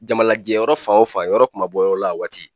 Jamalajɛ yɔrɔ fan o fan yɔrɔ kuma bɔ yɔrɔ la a waati